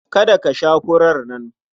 Kada ka sha furar nan!